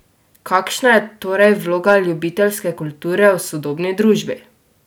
Kakšna je torej vloga ljubiteljske kulture v sodobni družbi?